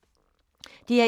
DR1